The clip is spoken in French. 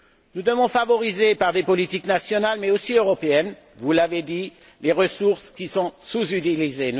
Nous devons favoriser, par des politiques nationales, mais aussi européennes, vous l'avez dit, des ressources qui sont sous utilisées.